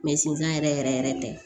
sinzan yɛrɛ yɛrɛ yɛrɛ tɛ